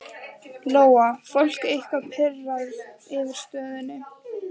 Lóa: Fólk eitthvað pirrað yfir stöðunni?